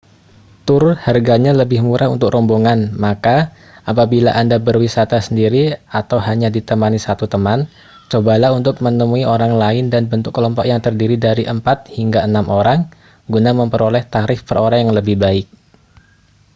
tur harganya lebih murah untuk rombongan maka apabila anda berwisata sendiri atau hanya ditemani satu teman cobalah untuk menemui orang lain dan bentuk kelompok yang terdiri dari empat hingga enam orang guna memperoleh tarif per orang yang lebih baik